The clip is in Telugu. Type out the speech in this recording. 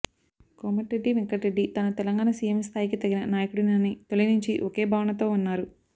కోమటిరెడ్డి వెంకటరెడ్డి తాను తెలంగాణ సీఎం స్థాయికి తగిన నాయకుడినని తొలినుంచి ఒకే భావనతో ఉన్నారు